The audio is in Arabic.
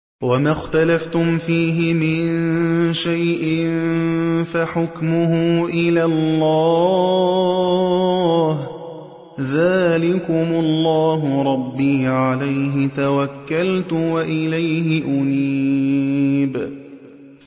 وَمَا اخْتَلَفْتُمْ فِيهِ مِن شَيْءٍ فَحُكْمُهُ إِلَى اللَّهِ ۚ ذَٰلِكُمُ اللَّهُ رَبِّي عَلَيْهِ تَوَكَّلْتُ وَإِلَيْهِ أُنِيبُ